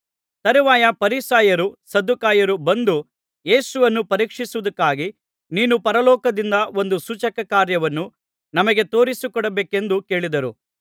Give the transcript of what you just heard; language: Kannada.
ತರುವಾಯ ಫರಿಸಾಯರು ಸದ್ದುಕಾಯರು ಬಂದು ಯೇಸುವನ್ನು ಪರೀಕ್ಷಿಸುವುದಕ್ಕಾಗಿ ನೀನು ಪರಲೋಕದಿಂದ ಒಂದು ಸೂಚಕಕಾರ್ಯವನ್ನು ನಮಗೆ ತೋರಿಸಿಕೊಡಬೇಕೆಂದು ಕೇಳಿದರು